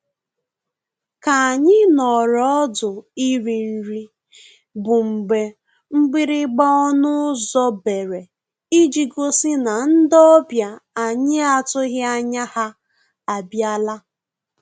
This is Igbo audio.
K'anyị nọọrọ ọdụ iri nri bụ mgbe mgbịrịgba ọnụ ụzọ bere iji gosi na ndị ọbịa anyị atụghị anya ha abịala